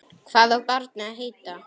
Hvað á barnið að heita?